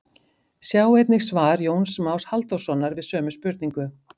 Sjá einnig svar Jóns Más Halldórssonar við sömu spurningu.